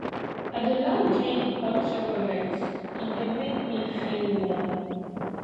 i dey like drink hot chocolate e dey make me feel warm